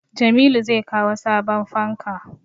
Jamilu zai kawo sabon fanka